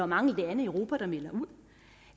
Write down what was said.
mange lande i europa der melder ud